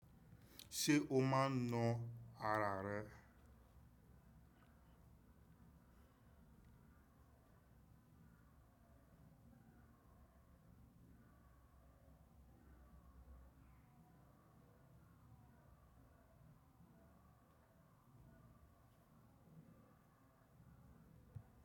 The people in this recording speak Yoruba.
Ṣé o máa ń na ara rẹ?